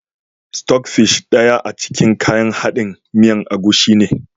"Stock fish" daya a cikin kayan haɗin miyan agushi ne.